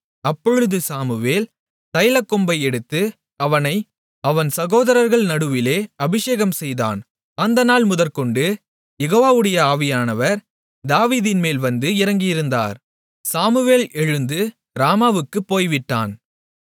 அப்பொழுது சாமுவேல் தைலக்கொம்பை எடுத்து அவனை அவன் சகோதரர்கள் நடுவிலே அபிஷேகம்செய்தான் அந்த நாள் முதற்கொண்டு யெகோவாவுடைய ஆவியானவர் தாவீதின்மேல் வந்து இறங்கியிருந்தார் சாமுவேல் எழுந்து ராமாவுக்குப் போய்விட்டான்